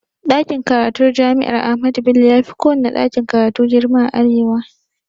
Ɗakin karatun jami'ar ahmadu bello yafi kowanne ɗakin karatu girma a arewa